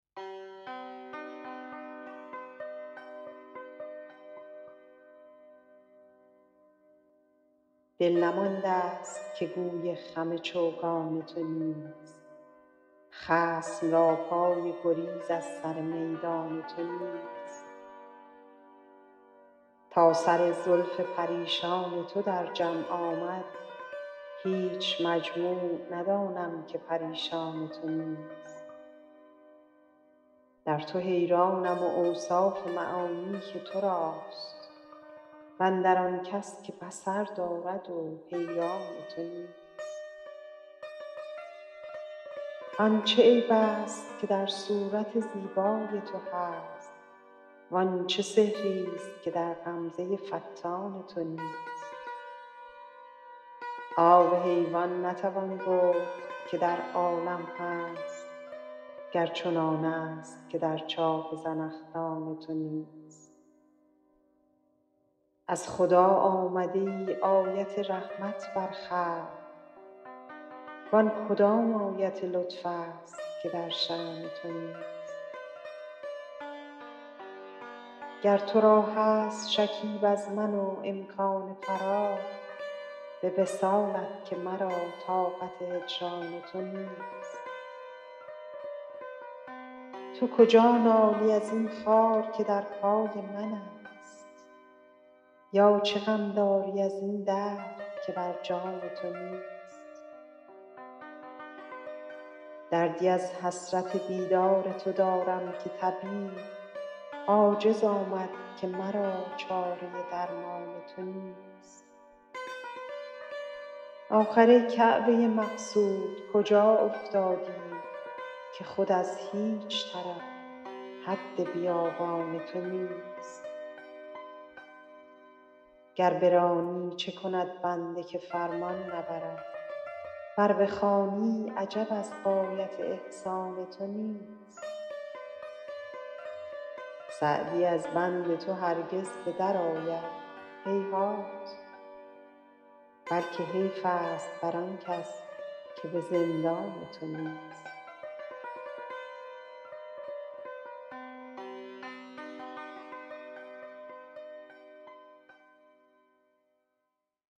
دل نمانده ست که گوی خم چوگان تو نیست خصم را پای گریز از سر میدان تو نیست تا سر زلف پریشان تو در جمع آمد هیچ مجموع ندانم که پریشان تو نیست در تو حیرانم و اوصاف معانی که تو راست و اندر آن کس که بصر دارد و حیران تو نیست آن چه عیب ست که در صورت زیبای تو هست وان چه سحر ست که در غمزه فتان تو نیست آب حیوان نتوان گفت که در عالم هست گر چنانست که در چاه زنخدان تو نیست از خدا آمده ای آیت رحمت بر خلق وان کدام آیت لطف ست که در شأن تو نیست گر تو را هست شکیب از من و امکان فراغ به وصالت که مرا طاقت هجران تو نیست تو کجا نالی از این خار که در پای منست یا چه غم داری از این درد که بر جان تو نیست دردی از حسرت دیدار تو دارم که طبیب عاجز آمد که مرا چاره درمان تو نیست آخر ای کعبه مقصود کجا افتادی که خود از هیچ طرف حد بیابان تو نیست گر برانی چه کند بنده که فرمان نبرد ور بخوانی عجب از غایت احسان تو نیست سعدی از بند تو هرگز به درآید هیهات بلکه حیف ست بر آن کس که به زندان تو نیست